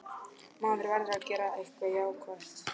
Maður verður að gera eitthvað jákvætt.